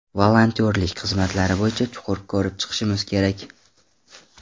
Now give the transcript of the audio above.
Volontyorlik xizmatlari bo‘yicha chuqur ko‘rib chiqishimiz kerak.